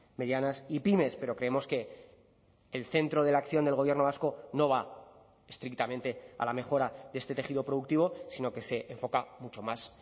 medianas y pymes pero creemos que el centro de la acción del gobierno vasco no va estrictamente a la mejora de este tejido productivo sino que se enfoca mucho más